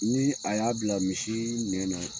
Ni a y'a bila misi nɛ na,